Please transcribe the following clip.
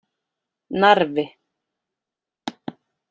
Narfi